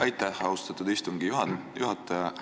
Aitäh, austatud istungi juhataja!